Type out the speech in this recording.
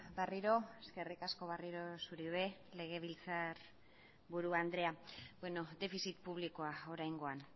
berriro eskerrik asko berriro zuri legebiltzarburu andrea bueno defizit publikoak oraingoan